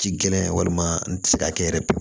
Ji gɛlɛn walima n tɛ se ka kɛ yɛrɛ